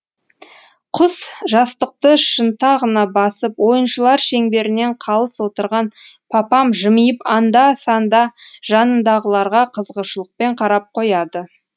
құс жастықты шынтағына басып ойыншылар шеңберінен қалыс отырған папам жымиып анда санда жанындағыларға қызығушылықпен қарап қояды